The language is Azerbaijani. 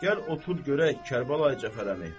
Gəl otur görək, Kərbəlayi Cəfər əmi.